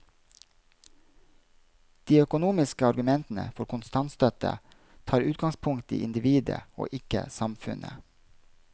De økonomiske argumentene for kontantstøtte tar utgangspunkt i individet og ikke samfunnet.